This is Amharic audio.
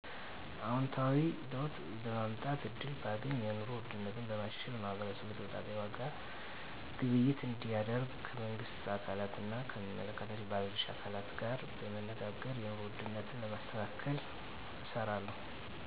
አዎንታዊ ለውጥ ለማምጣት እድል ባገኝ የንሮ ውድነትን በማሻሻል ማህበረሰቡ በተመጣጣኝ ዋጋ ግብይት እንዲያደርግ ከመንግስት አካላት ና ከሚመለከታቸው ባለድርሻ አካላት ጋር በመነጋገር የንሮ ውድነትን ለማስተካከል እሰራለሁ